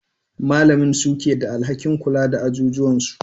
Malamin suke da alhakin kula da ajijuwan su.